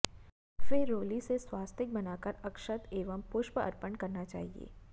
फिर रोली से स्वास्तिक बनाकर अक्षत एवं पुष्प अर्पण करना चाहिए